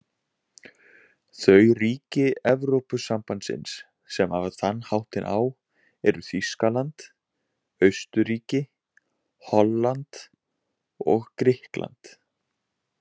Þau ríki Evrópusambandsins sem hafa þann háttinn á eru Þýskaland, Austurríki, Holland og Grikkland.